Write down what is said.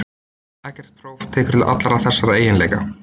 Ekkert próf tekur til allra þessara eiginleika.